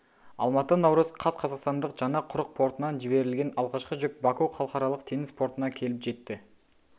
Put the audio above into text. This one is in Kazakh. алматы наурыз қаз қазақстандық жаңа құрық портынан жіберліген алғашқы жүк баку халықаралық теңіз портына келіп жетті